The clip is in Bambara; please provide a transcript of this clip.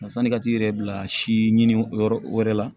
Sanni ka t'i yɛrɛ bila si ɲini yɔrɔ wɛrɛ la